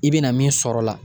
I bɛna min sɔrɔ o la